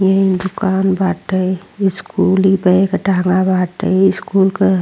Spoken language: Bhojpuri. ये दुकान बाटे। स्कूली बैग टांगा बाटे स्कूल क --